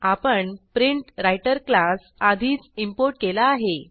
आपण प्रिंटव्राइटर classआधीच इंपोर्ट केला आहे